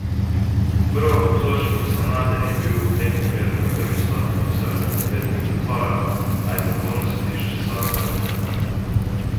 Prvoobtoženi Sanader je bil v tem primeru na prvi stopnji obsojen na devet let zapora, a je vrhovno sodišče sodbo razveljavilo.